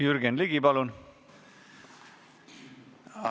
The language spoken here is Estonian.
Jürgen Ligi, palun!